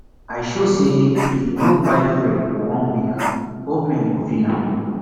i sure say if we no buy fuel for one week government go feel am